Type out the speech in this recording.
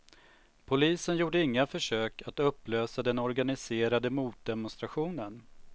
Polisen gjorde inga försök att upplösa den organiserade motdemonstrationen.